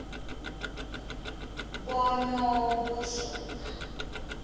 bonokuzola